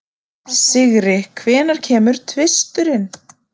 Sigri, hvenær kemur tvisturinn?